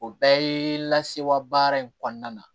O bɛɛ ye lasewa baara in kɔnɔna na